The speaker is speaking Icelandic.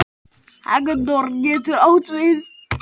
Hektor getur átt við